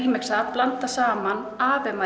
blanda saman